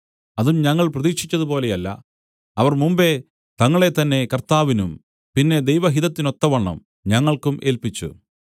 അതും ഞങ്ങൾ പ്രതീക്ഷിച്ചതുപോലെയല്ല അവർ മുമ്പെ തങ്ങളെത്തന്നെ കർത്താവിനും പിന്നെ ദൈവഹിതത്തിനൊത്തവണ്ണം ഞങ്ങൾക്കും ഏല്പിച്ചു